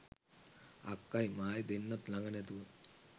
අක්කයි මායි දෙන්නත් ළඟ නැතුව